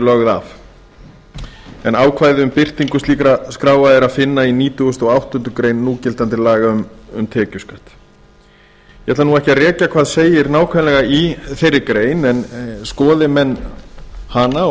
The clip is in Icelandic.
lögð af ákvæði um birtingu slíkra skráa er að finna í nítugasta og áttundu grein núgildandi laga um tekjuskatt ég ætla ekki að rekja hvað segir nákvæmlega í þeirri grein en skoði menn hana